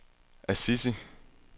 Assisi